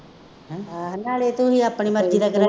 ਨਾਲੇ ਤੁਸੀਂ ਆਪਣੀ ਮਰਜ਼ੀ ਦਾ ਜਿਹੜਾ